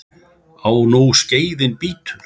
Á nú skeiðin bítur.